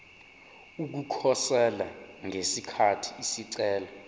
ukukhosela ngesikhathi isicelo